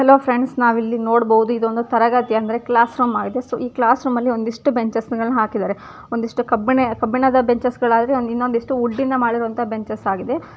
hello friends ನಾವಿಲ್ ನೋಡಬಹುದು ತರಗತಿ ಕ್ಲಾಸ್ ರೂಮ ಈ ಕ್ಲಾಸ್ ರೂಮಲ್ಲಿ ಒಂದಿಷ್ಟು ಬಿಜಸ್ ಹಾಕಿದ್ದಾರೆ ಒಂದಿಷ್ಟು ಕಬ್ಬಿಣದ ಬೆಂಚು ಒಂದಿಷ್ಟು ವುಡ್ಡಿನ ಬೆಂಚು ಹಾಕುತ್ತಿದ್ದಾರೆ ಅಬು --